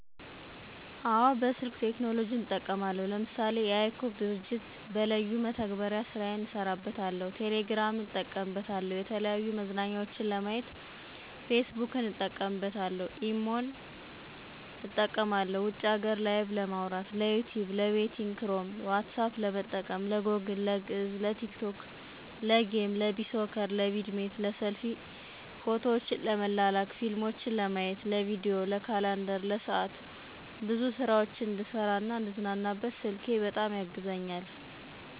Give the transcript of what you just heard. አወ በስልክ ቴክኖሎጅን እጠቀማለሁ ለምሳሌ:- የiCog ድርጅት በለዩን መተግበሪያ ስራየን እሰራበታለሁ፣ ቴሌግራምን እጠቀምበታለሁ፣ የተለያዩ መዝናኛዎችን ለማየት ፌስቡክን እጠቀምበታለሁ፣ ኢሞን እጠቀማለሁ ውጭ ሀገር ላይቨ ለማዉራት፣ ለዩቱብ፣ ለቤቲንግ ክሮም፣ ኋትሳፐ ለመጠቀም፣ ለጎግል፣ ለግዕዝ፣ ለቲክቶክ፣ ለጌም፣ ለቢሶከር፣ ለቪድሜት፣ ለሰልፊ፣ ፎቶዎችን ለመላላክ፣ ፊልሞችን ለማየት፣ ለቪዲዬ፣ ለካላንደር፣ ለሰዓት፣ ብዙ ስራዎች እንድሰራ፣ እንድዝናናበት ስልኬ በጣም ያግዘኛል።